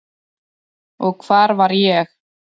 Og hvar var ég?